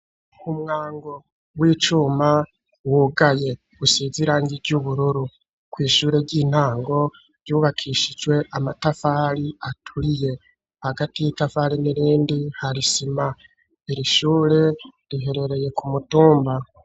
Umwango w'icuma wugaye usize irange ry'ubururu ku ishure ry'intango ryubakishijwe amatafari aturiye hagati y'itafari n'irindi hari isima irishure riherereye ku mutumba.